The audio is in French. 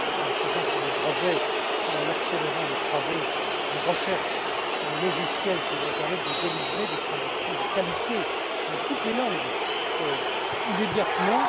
Nous le faisons sur le brevet en accélérant les travaux de recherche sur les logiciels qui vont permettre de délivrer des traductions de qualité dans toutes les langues immédiatement.